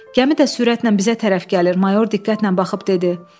Gəmi də sürətlə bizə tərəf gəlir, mayor diqqətlə baxıb dedi.